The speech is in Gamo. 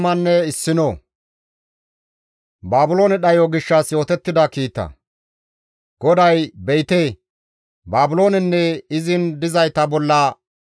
GODAY, «Be7ite! Baabiloonenne izin dizayta bolla dhayssiza carko tani yeddana.